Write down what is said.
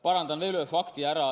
Parandan veel ühe fakti.